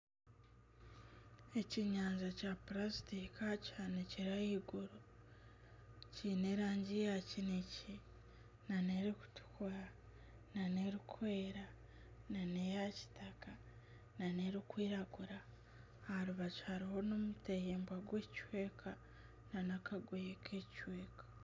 Ekyenyanja kya purasitiika kihanikire ahaiguru, kiine erangi ya kinekye nana erikutukura nana erikwera nana eya kitaka nana erikwiragura. Aha rubaju hariho n'omutahimbwa gw'ekicweka n'akagoye k'ekicweka.